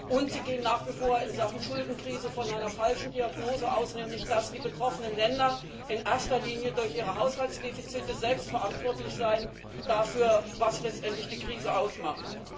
Und sie gehen nach wie vor in Sachen Schuldenkrise von einer falschen Diagnose aus nämlich, dass die betroffenen Länder in erster Linie durch ihre Haushaltsdefizite selbst dafür verantwortlich seien, was letztendlich die Krise ausmacht.